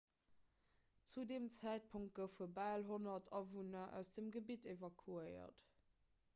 zu deem zäitpunkt goufe bal 100 awunner aus dem gebitt evakuéiert